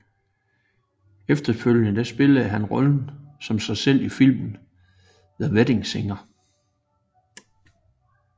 Efterfølgende spillede han rollen som sig selv i filmen The Wedding Singer